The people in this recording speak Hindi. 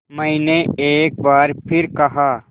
मैंने एक बार फिर कहा